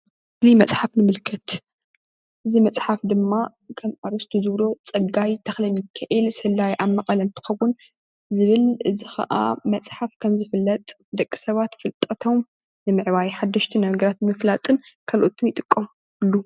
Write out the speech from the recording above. እዚ መፅሓፍ ይምልከት እዚ መፅሓፍ ከም ኣርእስቱ ዝብሎ ፅጋይ ተክለሚካኤል ሰላዪ ኣብ መቐለ እንትከዉን ዝብል እዚ ከዓ መፅሓፍ ከም ዝፍለጥ ደቂ ሰባት ፍልጠቶም ንምዕባይ ሓደሽቲ ነገራት ንምፍላጥን ካልኦትን ይጥቀምሉ::